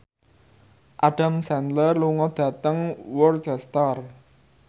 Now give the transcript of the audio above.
Adam Sandler lunga dhateng Worcester